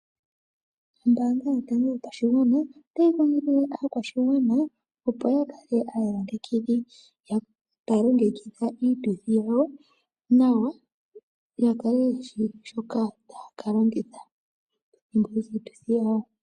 Ombaanga yotango yopashigwana otayi kondjithile aakwashigwana opo ya kale aayilongekidhi, taya longekidha iituthi yawo nawa, ya kale yeshi shoka taya ka longitha miituthi yawo.